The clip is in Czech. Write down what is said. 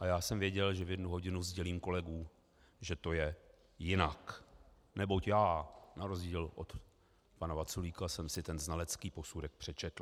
A já jsem věděl, že v jednu hodinu sdělím kolegům, že to je jinak, neboť já na rozdíl od pana Vaculíka jsem si ten znalecký posudek přečetl.